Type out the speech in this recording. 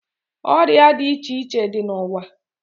Oria di iche iche di na uwaa